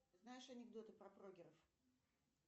знаешь анекдоты про прогеров